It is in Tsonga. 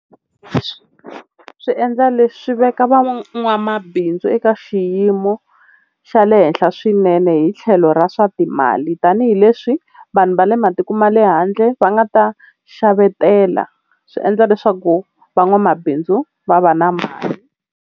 Swi endla, leswi veka van'wamabindzu eka xiyimo xa le henhla swinene hi tlhelo ra swa timali tanihileswi vanhu va le matiko ma le handle va nga ta xavetela, swi endla leswaku van'wamabindzu va va na mali.